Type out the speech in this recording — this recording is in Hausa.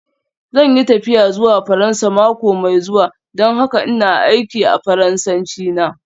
Zan yi tafiya zuwa Faransa mako mai zuwa don haka ina aiki a Faransanci na.